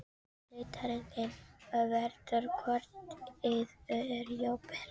Leiðarendinn verður hvort eð er hjá þér.